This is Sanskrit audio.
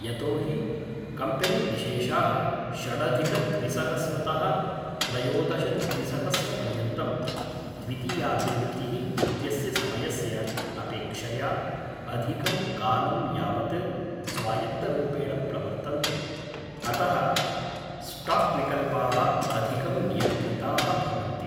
यतो हि कम्पेनीविशेषाः षडधिकद्विसहस्रतः त्रयोदशद्विसहस्रपर्यन्तम् द्वितीयाभिवृद्धिः इत्यस्य समयस्य अपेक्षया अधिकं कालं यावत् स्वायत्तरूपेण प्रवर्तन्ते, अतः स्टाक्विकल्पाः अधिकं नियन्त्रिताः भवन्ति।